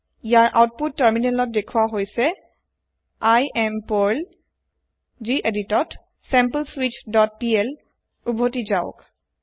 ইয়াৰ output তাৰমিনেলত দেখুৱা হৈছে I এএম পাৰ্ল geditত sampleswitchপিএল উভতি যাওক